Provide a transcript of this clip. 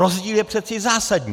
Rozdíl je přeci zásadní.